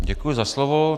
Děkuji za slovo.